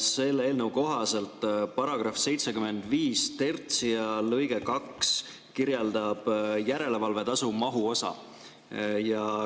Selle eelnõu kohaselt § 753 lõige 2 kirjeldab järelevalvetasu mahuosa.